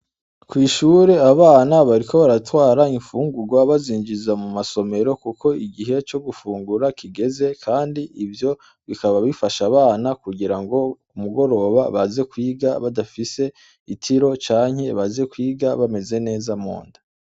Ku ishure abana bariko baratwara ifungurwa, bazinjiza mu masomero kuko igihe co gufungura kigeze, kandi ivyo bikaba bifasha abana kugira ngo, ku goroba baze kwiga badafise itiro canke baze kwiga bameze neza mu nda.